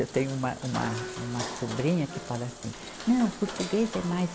Eu tenho uma, uma, uma sobrinha que fala assim, não, português é mais